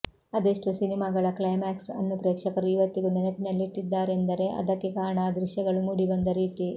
ಅದೆಷ್ಟೋ ಸಿನಿಮಾಗಳ ಕ್ಲೈಮ್ಯಾಕ್ಸ್ ಅನ್ನು ಪ್ರೇಕ್ಷಕರು ಇವತ್ತಿಗೂ ನೆನಪಿನಲ್ಲಿಟ್ಟಿದ್ದಾರೆಂದರೆ ಅದಕ್ಕೆ ಕಾರಣ ಆ ದೃಶ್ಯಗಳು ಮೂಡಿಬಂದ ರೀತಿ